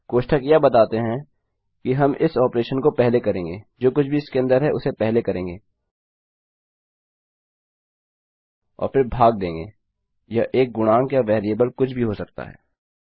कोष्ठक यह बताते हैं कि हम इस ऑपरेशन को पहले करेंगे जो कुछ भी इसके अन्दर है उसे पहले करेंगे और फ़िर भाग देंगे यह एक गुणांक या वेरिएबल कुछ भी हो सकता है